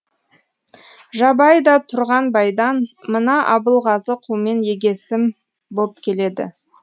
жабай да тұрғанбайдан мына абылғазы қумен егесім боп келеді